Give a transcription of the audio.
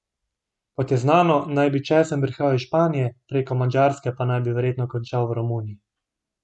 Kot je znano, naj bi česen prihajal iz Španije, preko Madžarske pa naj bi verjetno končal v Romuniji.